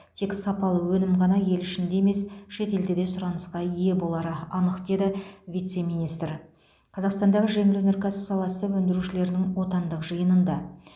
тек сапалы өнім ғана ел ішінде емес шетелде де сұранысқа ие болары анық деді вице министр қазақстандағы жеңіл өнеркәсіп саласы өндірушілерінің отандық жиынында